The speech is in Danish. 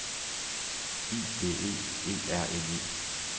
I D E E R N E